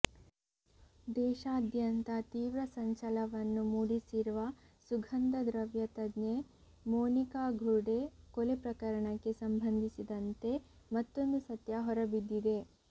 ದೇಶಾದ್ಯಂತ ತೀವ್ರ ಸಂಚಲವನ್ನು ಮೂಡಿಸಿರುವ ಸುಗಂಧದ್ರವ್ಯ ತಜ್ಞೆ ಮೋನಿಕಾ ಘುರ್ಢೆ ಕೊಲೆ ಪ್ರಕರಣಕ್ಕೆ ಸಂಬಂಧಿಸಿದಂತೆ ಮತ್ತೊಂದು ಸತ್ಯ ಹೊರಬಿದ್ದಿದೆ